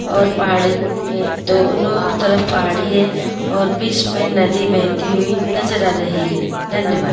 और पहाड़ी के दोनों तरफ पहाड़ी हैं और बीच मैं नदी बहती हुई नजर आ रही है धन्यवाद।